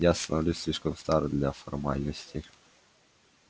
я становлюсь слишком стар для формальностей